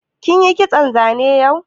Kin yi kitson zane yau?